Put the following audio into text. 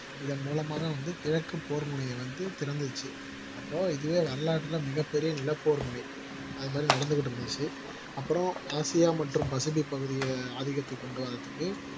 இதன் மூலமாக வந்து கிழக்கு போர் முனையை வந்து திறந்துச்சு அப்போ இதுவே வரலாற்றுல மிகப் பெரிய நிலப்போர் முறை அது மாதிரி நடந்துகிட்டு இருந்துச்சு அப்புறம் ஆசியா மற்றும் பசபிக் பகுதியை ஆதிகத்துக்கு கொண்டு வர்றதுக்கு